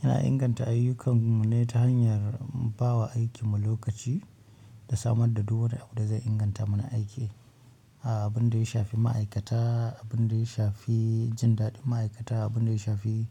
Yana inganta ayyukar mu ne ta hanyar ba wa aikimu lokaci da samun da duk wani abun da zai inganta muna aiki. Abin da ya shafi ma'aikata, abin da ya shafi jin daɗin ma'aikata, abin da ya shafi,